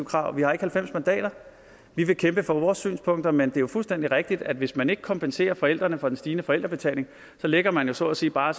krav vi har ikke halvfems mandater vi vil kæmpe for vores synspunkter men det er jo fuldstændig rigtigt at hvis man ikke kompenserer forældrene for den stigende forældrebetaling så lægger man jo så at sige bare